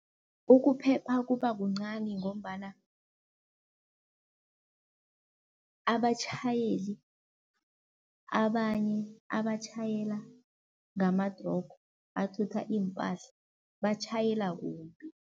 Ukuphepha kuba kuncani ngombana abatjhayeli abanye abatjhayela ngamatrogo athutha iimpahla, batjhayela kumbi.